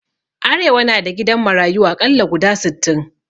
Arewa na da gidan marayu aƙalla guda sittin